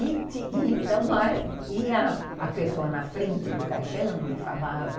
E e então ia a pessoa na frente do caixão e falava